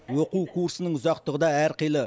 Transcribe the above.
оқу курсының ұзақтығы да әрқилы